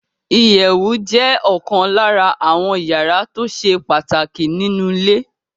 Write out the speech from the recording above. Ìyẹ̀wù jẹ́ ọ̀kan lára àwọ́n yàrá tó ṣe pàtàkì nínu ilé